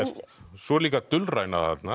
svo er líka dulræna þarna